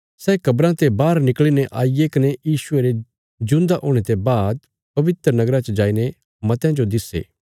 सै कब्राँ ते बाहर निकल़ीने आईगे कने यीशुये रे जिऊंदा हुणे ते बाद पवित्र नगरा च जाईने मतयां जो दिस्से